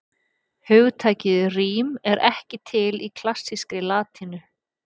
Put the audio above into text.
Hugtakið rím er ekki til í klassískri latínu.